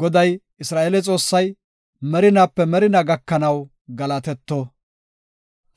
Goday, Isra7eele Xoossay, merinaape merinaa gakanaw galatetto.